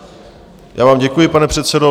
Já vám děkuji, pane předsedo.